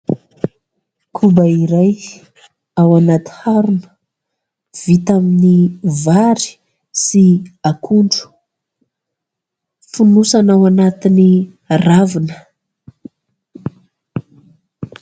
Koba iray ao anaty harona vita amin'ny vary sy akondro. Fonosana ao anatin'ny ravina.